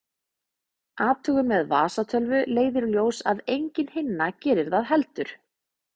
Athugun með vasatölvu leiðir í ljós að engin hinna gerir það heldur.